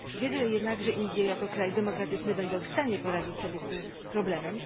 Wierzę jednak, że Indie, jako kraj demokratyczny, będą w stanie poradzić sobie z tym problemem.